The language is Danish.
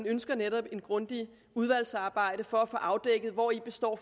ønsker et grundigt udvalgsarbejde for at få afdækket hvori består